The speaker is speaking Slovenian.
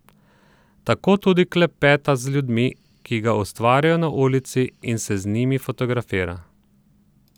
Tako tudi klepeta z ljudmi, ki ga ustavljajo na ulici, in se z njimi fotografira.